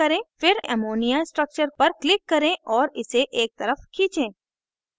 फिर ammonia structure पर click करें और इसे एक तरफ खींचें